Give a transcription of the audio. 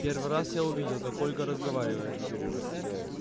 первый раз я увидел как ольга разговаривает